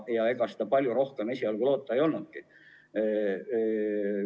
Ega palju rohkem esialgu loota olnudki.